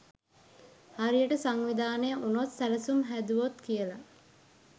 හරියට සංවිධානය උනොත් සැලසුම් හැදුවොත් කියල.